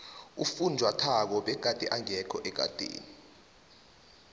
ufunjathwako begade engekho ekadeni